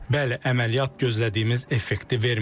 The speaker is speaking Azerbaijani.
Bəli, əməliyyat gözlədiyimiz effekti verməyəcək.